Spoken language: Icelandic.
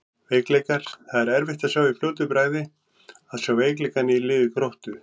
Veikleikar: Það er erfitt í fljótu bragði að sjá veikleikana í liði Gróttu.